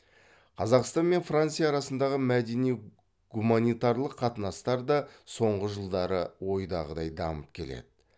қазақстан мен франция арасындағы мәдени гуманитарлық қатынастар да соңғы жылдары ойдағыдай дамып келеді